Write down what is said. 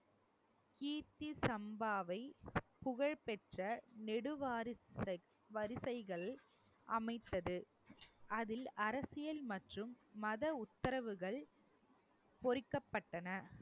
கீர்த்தி சம்பாவை புகழ் பெற்ற நெடுவாரிசுக்~ வரிசைகள் அமைத்தது அதில் அரசியல் மற்றும் மத உத்தரவுகள் பொறிக்கப்பட்டன